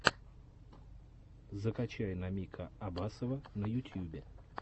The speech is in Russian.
закачай намика абасова на ютьюбе